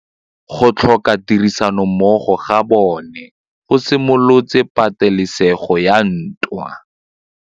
Go tlhoka tirsanommogo ga bone go simolotse patêlêsêgô ya ntwa.